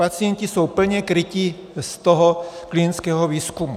Pacienti jsou plně kryti z toho klientského výzkumu.